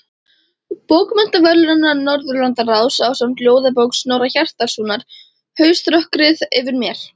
Bókmenntaverðlauna Norðurlandaráðs ásamt ljóðabók Snorra Hjartarsonar, Hauströkkrið yfir mér.